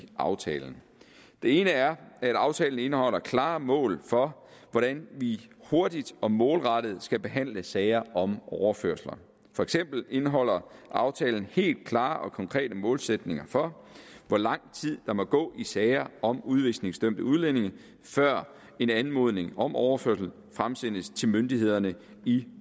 aftalen det ene er at aftalen indeholder klare mål for hvordan vi hurtigt og målrettet skal behandle sager om overførsler for eksempel indeholder aftalen helt klare og konkrete målsætninger for hvor lang tid der må gå i sager om udvisningsdømte udlændinge før en anmodning om overførsel fremsendes til myndighederne i